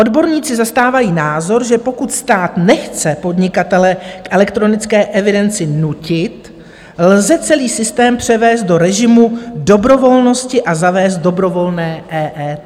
Odborníci zastávají názor, že pokud stát nechce podnikatele k elektronické evidenci nutit, lze celý systém převést do režimu dobrovolnosti a zavést dobrovolné EET.